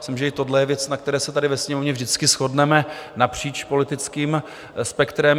Myslím, že i tohle je věc, na které se tady ve Sněmovně vždycky shodneme napříč politickým spektrem.